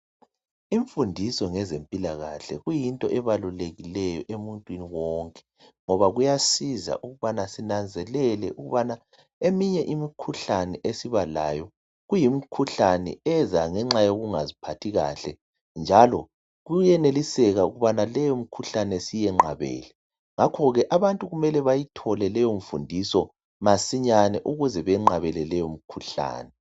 Imfundiso ngezempilakahle kuyinto ebalulekileyo emuntwini wonke, ngoba kuyasiza ukubana sinanzelele ukubana eminye imikhuhlane esiba layo, kuyimkhuhlane eza ngenxa yokungaziphathi kahle, njalo kuyeneliseka ukuthi leyo mkhuhlane siyenqabele. Ngakho ke abantu ku.ele bayithole leyo mfundiso masinyane ukuze benqabele leyo mkhuhlane.